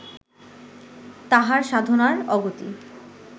তাঁহার সাধনার অগতি